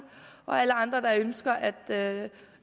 og alle andre der ønsker at